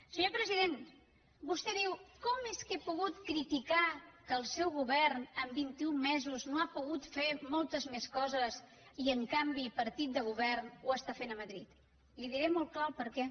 senyor president vostè diu com és que he pogut criticar que el seu govern en vint i un mesos no ha pogut fer moltes més coses i en canvi partit de govern ho està fent a madrid li diré molt clar el perquè